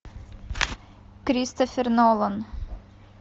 кристофер нолан